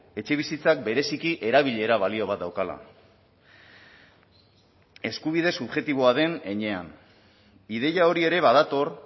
etxebizitzak bereziki erabilera balio bat daukala eskubide subjektiboa den heinean ideia hori ere badator